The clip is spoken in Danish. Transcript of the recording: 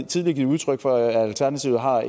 tidligere givet udtryk for at alternativet har